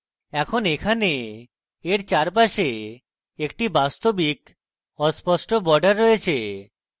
এখন এখানে এর চারপাশে একটি বাস্তবিক অস্পষ্ট border রয়েছে